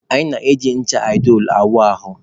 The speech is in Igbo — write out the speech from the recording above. Anyị na-eji ncha aịdolu awụ ahụ.